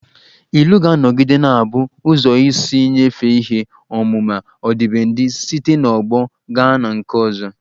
Ilu ga-anọgide na-abụ ụzọ isi nyefee ihe ọmụma ọdịbendị site n'ọgbọ gaa na nke ọzọ